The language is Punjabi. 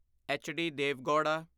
H D Deve gouda